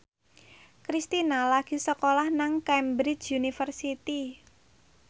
Kristina lagi sekolah nang Cambridge University